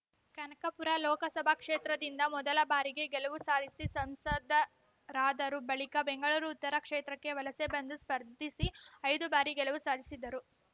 ಕನಕಪುರ ಲೋಕಸಭಾ ಕ್ಷೇತ್ರದಿಂದ ಮೊದಲ ಬಾರಿಗೆ ಗೆಲುವು ಸಾಧಿಸಿ ಸಂಸದರಾದರು ಬಳಿಕ ಬೆಂಗಳೂರು ಉತ್ತರ ಕ್ಷೇತ್ರಕ್ಕೆ ವಲಸೆ ಬಂದು ಸ್ಪರ್ಧಿಸಿ ಐದು ಬಾರಿ ಗೆಲುವು ಸಾಧಿಸಿದ್ದರು